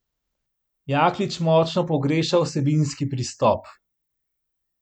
Jaklič močno pogreša vsebinski pristop.